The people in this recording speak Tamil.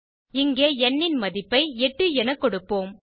இங்கே ந் ன் மதிப்பை 8 என கொடுப்போம்